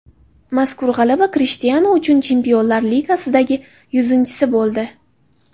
Mazkur g‘alaba Krishtianu uchun Chempionlar Ligasidagi yuzinchisi bo‘ldi .